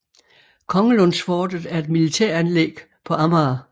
Kongelundsfortet er et militæranlæg på Amager